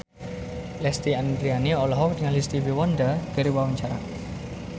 Lesti Andryani olohok ningali Stevie Wonder keur diwawancara